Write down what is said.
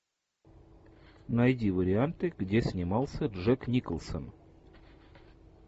найди варианты где снимался джек николсон